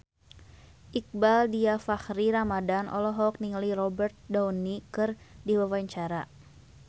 Iqbaal Dhiafakhri Ramadhan olohok ningali Robert Downey keur diwawancara